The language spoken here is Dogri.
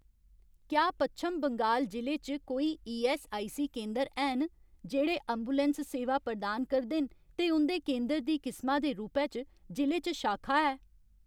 क्या पच्छम बंगाल जि'ले च कोई ईऐस्सआईसी केंदर हैन जेह्ड़े ऐम्बुलैंस सेवां प्रदान करदे न ते उं'दे केंदर दी किसमा दे रूपै च जि'ले च शाखा है ?